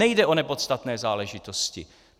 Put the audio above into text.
Nejde o nepodstatné záležitosti!